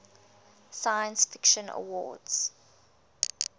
science fiction awards